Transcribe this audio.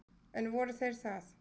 En voru þeir það?